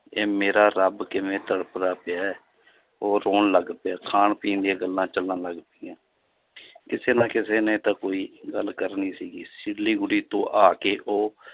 ਇਹ ਮੇਰਾ ਰੱਬ ਕਿਵੇਂ ਤੜਫਦਾ ਪਿਆ ਹੈ ਉਹ ਰੋਣ ਲੱਗ ਪਿਆ, ਖਾਣ ਪੀਣ ਦੀਆਂ ਗੱਲਾਂ ਚੱਲਣ ਲੱਗ ਪਈਆਂ ਕਿਸੇ ਨਾ ਕਿਸੇ ਨੇ ਤਾਂ ਕੋਈ ਗੱਲ ਕਰਨੀ ਸੀਗੀ, ਸਿਲੀਗੁੜੀ ਤੋਂ ਆ ਕੇ ਉਹ